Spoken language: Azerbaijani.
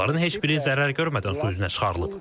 Bunların heç biri zərər görmədən su üzünə çıxarılıb.